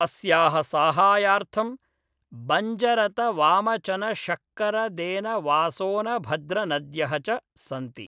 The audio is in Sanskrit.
अस्याः साहाय्यार्थं बञ्जरतवामचनशक्करदेनवासोनभद्रनद्यः च सन्ति